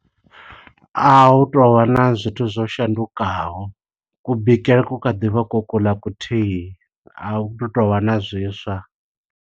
A hu to vha na zwithu zwo shandukaho, ku bikele ku khaḓi vha, ko kuḽa kuthihi. A hu tovha na zwiswa.